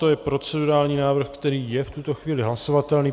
To je procedurální návrh, který je v tuto chvíli hlasovatelný.